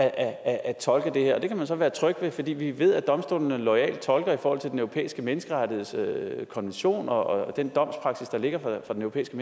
at tolke det her det kan man så være tryg ved fordi vi ved at domstolene loyalt tolker i forhold til den europæiske menneskerettighedskonvention og den domspraksis der ligger fra den europæiske